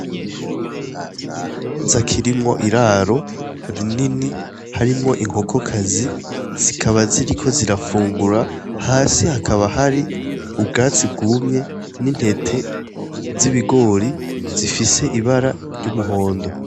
Ni ikibanza kirimwo iraro rinini, harimwo inkokokazi. Zikaba ziriko zirafungura. Hasi hakaba hari ubwatsi bwumye n'intete z' ibigori zifise ibara ry'umuhondo